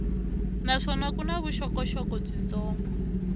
naswona ku na vuxokoxoko byitsongo